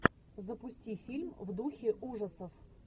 запусти фильм в духе ужасов